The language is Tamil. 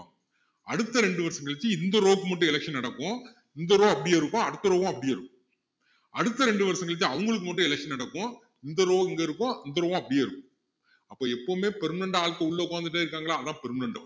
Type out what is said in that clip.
அடுத்த இரண்டு வருஷம் கழிச்சு இந்த row க்கு மட்டும் election நடக்கும் இந்த row அப்படியே இருக்கும் அடுத்த row உம் அப்படியே இருக்கும் அடுத்த ரெண்டு வருஷத்துக்கு அவங்களுக்கு மட்டும் election நடக்கும் இந்த row இங்க இருக்கும் அந்த row உம் அப்படியே இருக்கும் அப்போ எப்பவுமே permanent ஆட்கள் உள்ள உக்காந்துட்டே இருக்காங்களா அதான் permanent